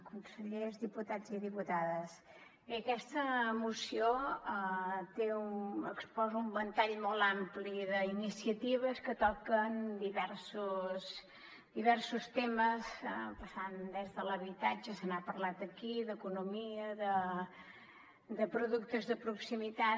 consellers diputats i diputades bé aquesta moció exposa un ventall molt ampli d’iniciatives que toquen diversos temes passant des de l’habitatge se n’ha parlat aquí d’economia de productes de proximitat